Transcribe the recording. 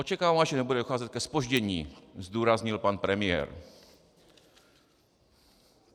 - Očekávám, že nebude docházet ke zpoždění, zdůraznil pan premiér.